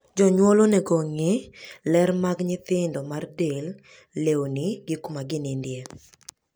Wazazi wanastahili kuhakikisha usafi wa watoto kimwili, nguo, na malazi.